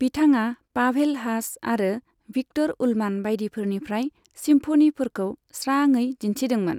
बिथाङा Pavel Haas आरो Viktor Ullmann बायदिफोरनिफ्राय सिम्फनिफोरखौ स्राङै दिन्थिदोंमोन।